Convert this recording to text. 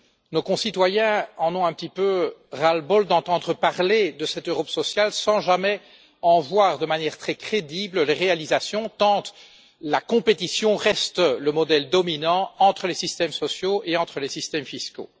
Nos concitoyens en ont un petit peu ras le bol d'entendre parler de cette Europe sociale sans jamais en voir de manière très crédible les réalisations, tant la compétition reste le modèle dominant entre les systèmes sociaux et entre les systèmes fiscaux.